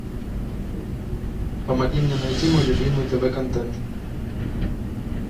помоги мне найти мой любимый тв контент